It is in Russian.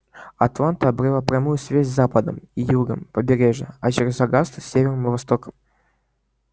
атланта обрела прямую связь с западом и югом и с побережьем а через огасту с севером и востоком